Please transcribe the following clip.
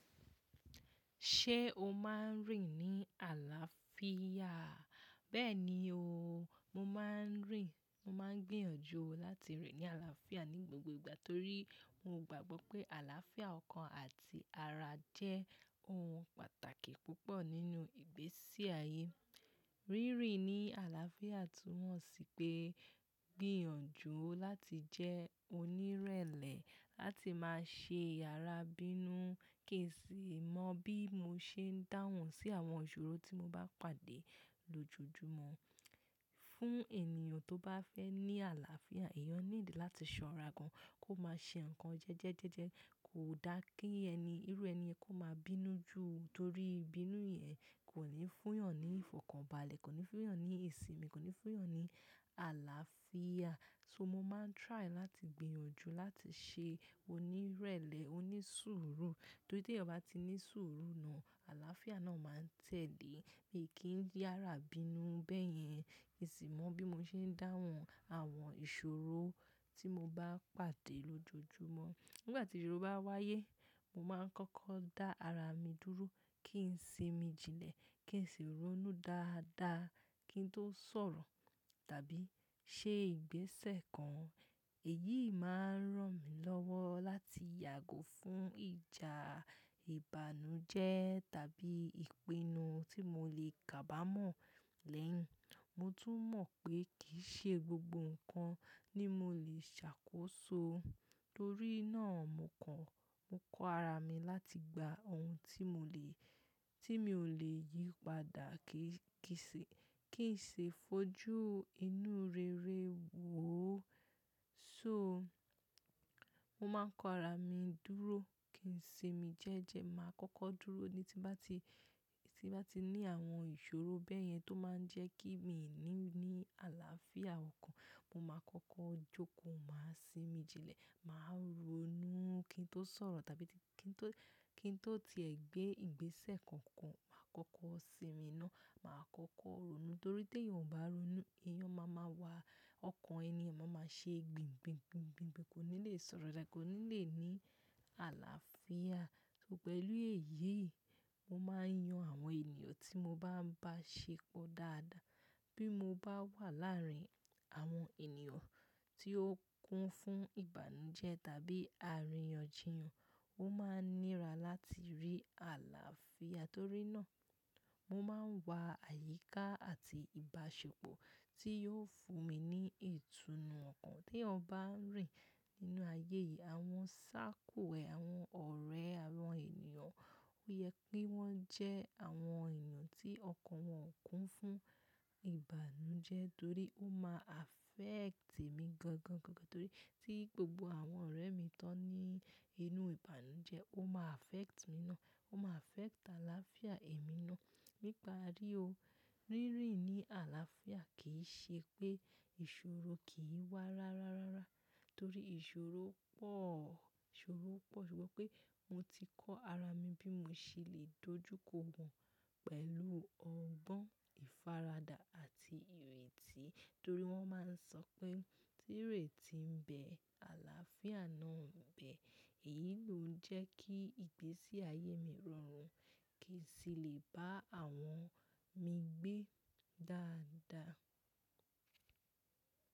Ṣé o máa ń rìn ní àlàáfíà? Bẹ́ẹ̀ni o, mo máa ń rìn. Mo máa ń gbìyànjú láti rìn ní àlàáfíà ní gbogbo ìgbà torí mo gbàgbọ́ pé àlàáfíà ọkàn àti ara jẹ́ ohun pàtàkì púpọ̀ nínú ìgbésí ayé. Rí rìn ní àlàáfíà tú mọ̀ sí pé gbìyànjú láti jẹ́ onírẹ̀lẹ̀, láti máa ṣe ara bínú. Kì í sì mọ bí mo ṣe ń dáhùn sí àwọn ìṣòro tí mo bá pàdé lojojumọ. Fún ènìyàn tó bá fẹ́ ní àlàáfíà, èèyàn need láti ṣọ́ra gan, kó má ṣe nǹkan jẹ́jẹ́jẹ́jẹ́, kò dá kí ẹni, irú ẹni kó máa bínú jù torí bínú yẹn kò ní fún eeyàn ní ìfọ̀kànbalẹ̀, kò ní fún eeyàn ní ìsinmi, kò ní fún eeyàn ní àlàáfíà. So mo máa ń try láti gbìyànjú láti ṣe onírẹ̀lẹ̀, onísùúrù. Torí tí ẹeyan bá ti ní sùúrù náà, àlàáfíà náà máa ń tẹ̀lé. Mi kì í di ara bínú bẹ́yẹn, èsì mọ bí mo ṣe ń dáhùn àwọn ìṣòro tí mo bá pàdé lojojumọ. Nígbà tí ìṣòro bá wáyé, mo máa ń kọ́kọ́ dá ara mi dúró, kí n sì mi jilẹ̀, kí n sì ronú dáadáa kí n tó sọ̀rọ̀ tàbí ṣe ìgbésẹ̀ kan. Èyí máa ń ràn mí lọ́wọ́ láti yàgò fún ìjà ìbànújẹ́ tàbí ìpinnu tí mo lè kábàmọ̀ lẹ́yìn. Mo tún mọ̀ pé kì í ṣe gbogbo nǹkan ni mo lè ṣàkóso. Torí náà, mo kan, mo kọ ara mi láti gba ohun tí mo lè, tí mi ò lè yípadà, kí n kì í ṣe, kí n sì fojú inú rere wò ó. So mo máa ń kọ ara mi dúró, kí n sì mi jẹ́jẹ́, màá kọ́kọ́ dúró ní tí bá ti, tí bá ti ní àwọn ìṣòro bẹ́yẹn tó máa ń jẹ́ kí mi ní ní àlàáfíà ọkàn, mo máa kọ́kọ́ jókòó, màá sì mi jilẹ̀, màá ronú kí n tó sọ̀rọ̀ tàbí kí n tó, kí n tó ti ẹ gbé ìgbésẹ̀ kankan. Màá kọ́kọ́ sinmi iná, màá kọ́kọ́ ronú torí tí ẹeyan ò bá ronú, èèyàn máa ma wà, ọkàn ènìyàn máa ma ṣe gbìngbìngbìngbìngbìn, kò ní lè sọ̀rọ̀ dá, kò ní lè ní àlàáfíà. So pẹ̀lú èyí, mo máa ń yan àwọn ènìyàn tí mo bá ń bá ṣepọ̀ dáadáa. Bí mo bá wà láàárín àwọn ènìyàn tí ó kún fún ìbànújẹ́ tàbí àríyànjiyàn, ó máa ń nira láti rí àlàáfíà torí náà mo máa ń wá àyíká àti ìbáṣepọ̀ tí yóò fún mi ní ìtùnú ọkàn. Tí ẹeyan bá ń rìn nínú ayé yìí, àwọn circle ẹ, àwọn ọ̀rẹ́, àwọn ènìyàn, ó yẹ kí wọ́n jẹ́ àwọn ènìyàn tí ọkàn wọn kún fún ìbànújẹ́ torí ó máa affect èmi gangan, gangan torí tí gbogbo àwọn ọ̀rẹ́ mi tó ní inú ìbànújẹ́, ó máa affect mi ná, ó máa affect àlàáfíà èmi ná nípa rí o. Rí rìn ní àlàáfíà kì í ṣe pé ìṣòro kì í wá rá rá rárá torí ìṣòro pọ̀, ìṣòro pọ̀ ṣùgbọ́n pé mo ti kọ́ ara mi bí mo ṣe lè dojú kọ wọ́n pẹ̀lú ọgbọ́n, ìfaradà àti ìrètí torí wọ́n máa ń sọ pé tí ìrètí ń bẹ, àlàáfíà náà ń bẹ. Èyí ló ń jẹ́ kí ìgbésí ayé mi rọrùn, kí sì lè bá àwọn mi gbé dáadáa.